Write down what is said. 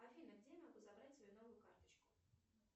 афина где я могу забрать свою новую карточку